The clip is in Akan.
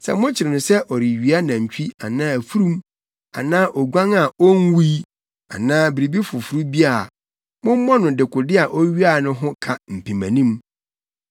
Sɛ mokyere no sɛ ɔrewia nantwi anaa afurum anaa oguan a onwui anaa biribi foforo bi a, mommɔ no dekode a owiae no ho ka mpemanim.